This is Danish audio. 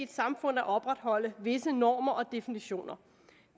samfund at opretholde visse normer og definitioner